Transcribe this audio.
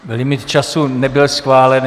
Limit času nebyl schválen.